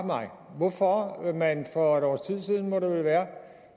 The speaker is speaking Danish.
mig hvorfor man for et års tid siden må det vel være